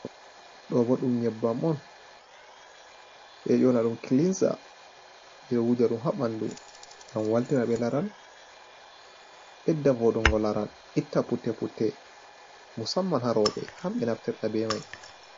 Do bo dum nyebbam on eyona dum kilinza, bedo wuja dum habandu gam waltina be laral bedda fodungo laral itta putte putte musamman harobe hambe naftirta be mai.